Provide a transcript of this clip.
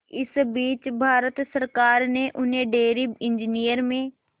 इस बीच भारत सरकार ने उन्हें डेयरी इंजीनियरिंग में